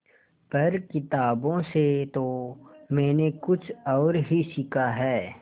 पर किताबों से तो मैंने कुछ और ही सीखा है